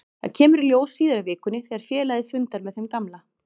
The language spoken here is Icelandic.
Það kemur í ljós síðar í vikunni þegar félagið fundar með þeim gamla.